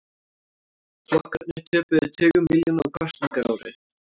Flokkarnir töpuðu tugum milljóna á kosningaári